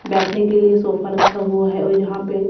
बैठने के लिए सोफा रखा हुआ है और यहां पे--